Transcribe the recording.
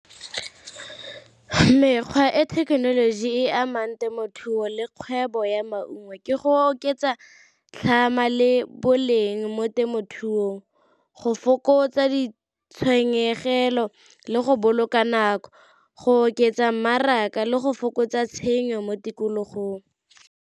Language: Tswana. Mekgwa e thekenoloji e amang temothuo le kgwebo ya maungo ke go oketsa tlhama le boleng mo temothuong, go fokotsa ditshenyegelo le go boloka nako go oketsa mmaraka le go fokotsa tshenyo mo tikologong.